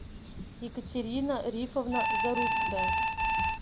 екатерина рифовна заруцкая